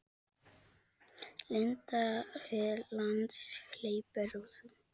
Linda: Hve langt hleypur þú?